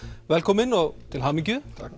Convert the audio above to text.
velkomin og til hamingju takk